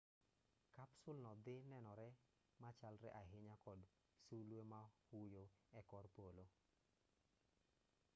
kapsul no dhi nenore machalre ahinya kod sulwe ma huyo e kor polo